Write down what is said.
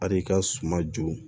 Al'i ka suma joon